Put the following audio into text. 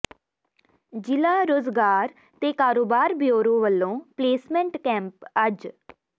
ਜ਼ਿਲ੍ਹਾ ਰੁਜ਼ਗਾਰ ਤੇ ਕਾਰੋਬਾਰ ਬਿਊਰੋ ਵੱਲੋਂ ਪਲੇਸਮੈਂਟ ਕੈਂਪ ਅੱਜ